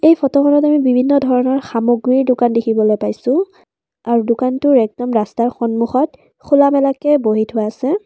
এই ফটোখনত আমি বিভিন্ন ধৰণৰ সামগ্ৰীৰ দোকান দেখিবলৈ পাইছোঁ আৰু দোকানটোৰ একদম ৰাস্তাৰ সন্মূখত খোলা মেলাকে বহি থোৱা আছে।